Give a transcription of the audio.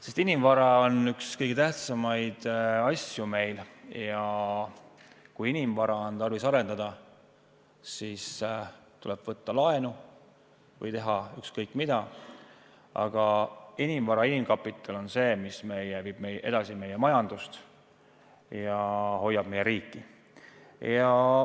Sest inimvara on üks meie kõige tähtsamaid asju ja kui inimvara on tarvis arendada, siis tuleb võtta laenu või teha ükskõik mida, aga inimvara, inimkapital on see, mis viib edasi meie majandust ja hoiab meie riiki.